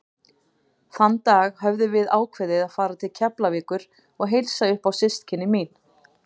Þann dag höfðum við ákveðið að fara til Keflavíkur og heilsa upp á systkini mín.